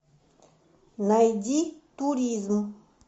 найди туризм